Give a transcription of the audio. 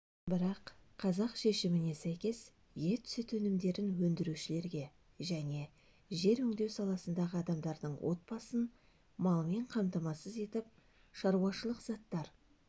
бірақ қазақ шешіміне сәйкес ет-сүт өнімдерін өндірушілерге және жер өңдеу саласындағы адамдардың отбасын малмен қамтамасыз етіп шаруашылық заттар